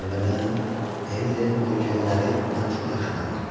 Əvvələn, Ellenbogenləri mən çox yaxşı tanıyıram.